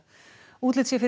útlit sé fyrir